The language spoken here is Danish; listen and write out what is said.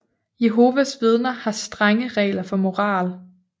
Jehovas Vidner har strenge regler for moral